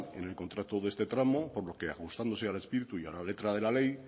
en el contrato de este tramo por lo que ajustándose al espíritu y a la letra de la ley